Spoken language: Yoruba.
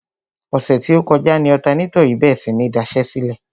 Ọ̀sẹ̀ tí ó kọjá ni ọ̀tanátọ̀ yìí bèrè sí ní daṣẹ́sílẹ̀.